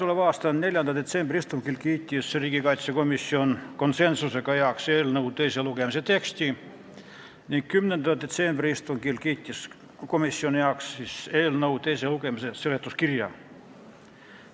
Oma 4. detsembri istungil kiitis komisjon konsensusega heaks eelnõu teise lugemise teksti ning 10. detsembri istungil teise lugemise teksti seletuskirja.